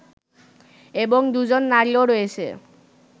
এবং দুজন নারীও রয়েছে